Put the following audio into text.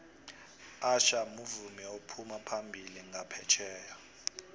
usher muvumi ophuma phambili nqaphetjheya